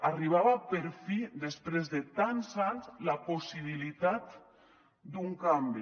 arribava per fi després de tants anys la possibilitat d’un canvi